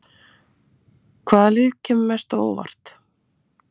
Hvaða lið kemur mest á óvart?